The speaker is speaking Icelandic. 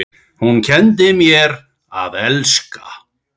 Hún kenndi mér að elska.